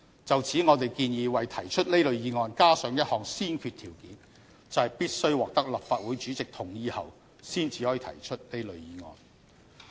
就此，我們建議為提出這類議案加上一項先決條件，就是必須獲得立法會主席同意後才可以提出這類議案。